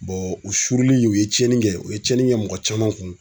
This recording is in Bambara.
u surunlen u ye tiɲɛni kɛ u ye tiɲɛni kɛ mɔgɔ caman kun.